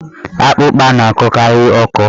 Akpụkpa na-akọkarị ọkọ.